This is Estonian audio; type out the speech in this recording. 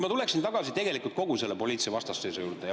Ma tuleksin tagasi kogu selle poliitilise vastasseisu juurde.